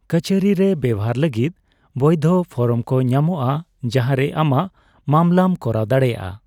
ᱠᱟᱹᱪᱷᱟᱹᱨᱤ ᱨᱮ ᱵᱮᱣᱦᱟᱨ ᱞᱟᱹᱜᱤᱫ ᱵᱳᱭᱫᱷᱚ ᱯᱷᱚᱨᱢᱠᱚ ᱧᱟᱢᱚᱜᱼᱟ ᱡᱟᱦᱟᱸᱨᱮ ᱟᱢᱟᱜ ᱢᱟᱵᱽᱞᱟᱢ ᱠᱚᱨᱟᱣ ᱫᱟᱲᱮᱹᱭᱟᱜᱼᱟ᱾